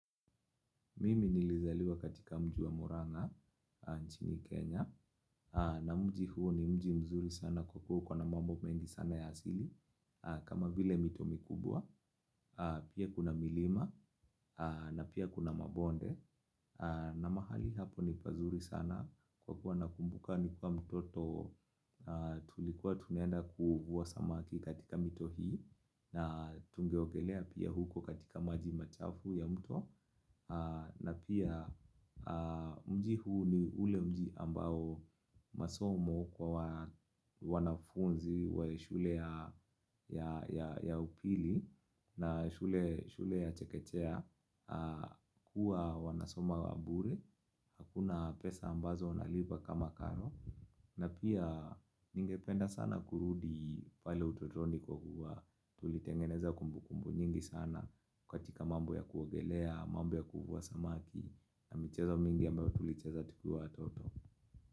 Mimi nilizaliwa katika mji wa Muranga, nchini Kenya. Na mji huo ni mzuri sana kwa kuwa ikona mambo mengi sana ya asili. Kama vile mito mikubwa, pia kuna milima, na pia kuna mabonde. Na mahali hapo ni pazuri sana kwa kuwa nakumbuka nikiwa mtoto tulikuwa tunenda kuvua samaki katika mito hii. Na tungeogelea pia huko katika maji machafu ya mto. Na pia mji huu ni ule mji ambao masomo kwa wanafunzi wa shule ya upili na shule ya chekechea kuwa wanasoma wa mburi. Hakuna pesa ambazo unalipa kama karo. Na pia ningependa sana kurudi pale utotoni kwa kuwa tulitengeneza kumbukumbu nyingi sana. Katika mambo ya kuogelea, mambo ya kuvua samaki na michezo mingi ambayo tulicheza tukiwa watoto.